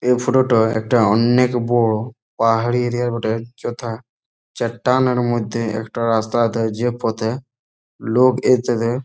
এই ফটো -টা একটা অন্নেক বড়ো পাহাড়ি এরিয়া বটে যথা চাট্টানের মধ্যে একটা রাস্তা আছে যে পথে লোক